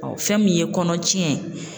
fɛn min ye kɔnɔ tiɲɛ